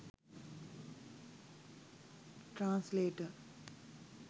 translator